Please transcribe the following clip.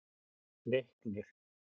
Leiknir